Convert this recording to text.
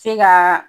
Se ka